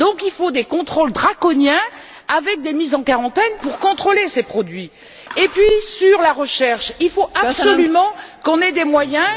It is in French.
Il faut donc instaurer des contrôles draconiens avec des mises en quarantaine pour contrôler ces produits. En ce qui concerne la recherche, il faut absolument qu'on ait des moyens.